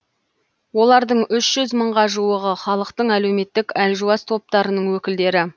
олардың үш жүз мыңға жуығы халықтың әлеуметтік әлжуаз топтарының өкілдері